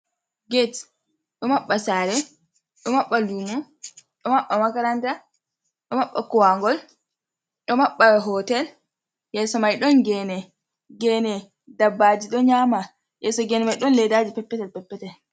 Gate do maɓɓa sare, ɗo maɓɓa lumo, ɗo maɓɓa makaranta, ɗo maɓɓa kowangol, do maɓɓa hotel, yeso mai ɗon gene dabbaji ɗo nyama yeso gene mai ɗon leidaji peppetel peppetel.